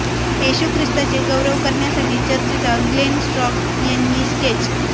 येशू ख्रिस्ताचे गौरव करण्यासाठी चर्चचा ग्लेन स्ट्रॉक यांनी स्केच